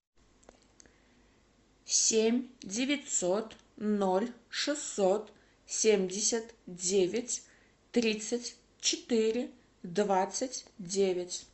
семь девятьсот ноль шестьсот семьдесят девять тридцать четыре двадцать девять